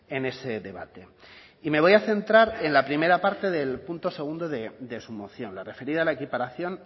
en ese debate y me voy a centrar en la primera parte del punto segundo de su moción la referida a la equiparación